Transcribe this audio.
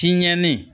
Tiɲɛnen